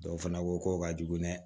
Dɔw fana ko k'o ka jugu dɛ